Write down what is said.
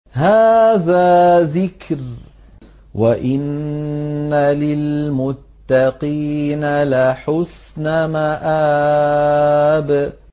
هَٰذَا ذِكْرٌ ۚ وَإِنَّ لِلْمُتَّقِينَ لَحُسْنَ مَآبٍ